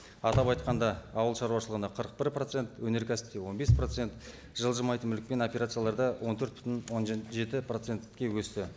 атап айтқанда ауыл шаруашылығына қырық бір процент өнеркәсіпте он бес процент жылжымайтын мүлікпен операцияларда он төрт бүтін он жеті процентке өсті